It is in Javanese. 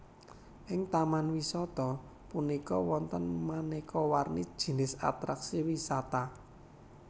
Ing Taman wisata punika wonten manéka warni jinis atraksi wisata